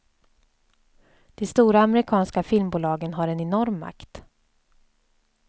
De stora amerikanska filmbolagen har en enorm makt.